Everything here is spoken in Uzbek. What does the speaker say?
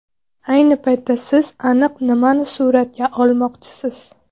Ayni paytda siz aniq nimani suratga olmoqchisiz?